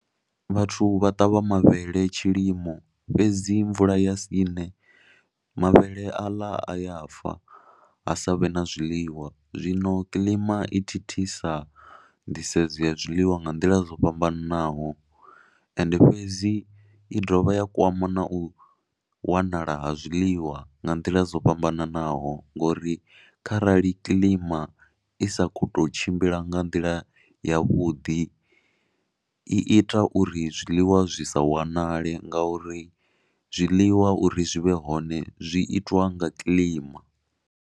Vhathu vha ṱavha mavhele tshilimo fhedzi mvula ya sine mavhele aḽa a ya fa ha sa vhe na zwiḽiwa. Zwino kilima i thithisa nḓisedzo ya zwiḽiwa nga nḓila zwo fhambananaho ende fhedzi i dovha ya kwama na u wanala ha zwiḽiwa nga nḓila dzo fhambananaho ngori kharali kilima i sa khou tou tshimbila nga nḓila yavhuḓi i ita uri zwiḽiwa zwi sa wanale ngauri zwiḽiwa uri zwi vhe hone zwi itwa nga kilima.